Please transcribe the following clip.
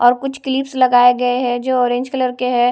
और कुछ क्लिप्स लगाए गए हैं जो ऑरेंज कलर के है।